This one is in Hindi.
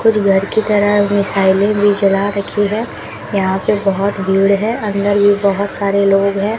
कुछ घर की तरफ मिसाइलें भी जला रखी हैं यहां पे बहोत भीड़ है अंदर भी बहोत सारे लोग हैं।